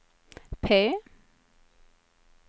P